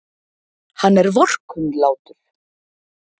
Hann er vorkunnlátur.